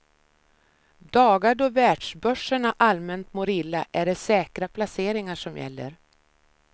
Dagar då världsbörserna allmänt mår illa är det säkra placeringar som gäller.